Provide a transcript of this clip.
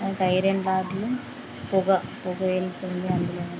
ఒక ఐరన్ రాడ్లు పొగ-పొగ ఎలుతుంది.అందులో నుం--